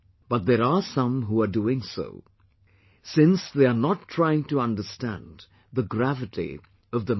But there are some who are doing so, since they are not trying to understand the gravity of the matter